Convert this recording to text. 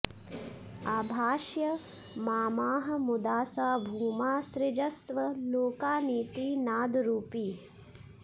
आभाष्य मामाह मुदा स भूमा सृजस्व लोकानिति नादरूपी